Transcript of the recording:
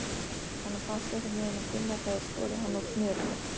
Honum fannst einhvernveginn að Gunnar hefði skorið hann úr snörunni.